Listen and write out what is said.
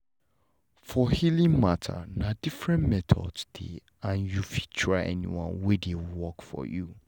for healing matter na different methods dey and you fit try anyone wey dey work for you